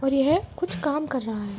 और यह कुछ काम कर रहा है।